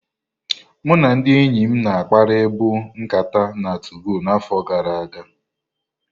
Mụ na ndị enyim na akpari bụ nkata na 2gọ na afo gara aga.